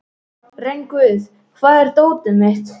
Rongvuð, hvar er dótið mitt?